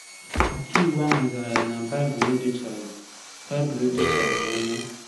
Ọkàiwu ahụ zara ya na Baịbụl edochaghị Baịbụl edochaghị ya anya.